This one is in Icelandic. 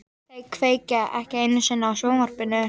Þau kveikja ekki einu sinni á sjónvarpinu.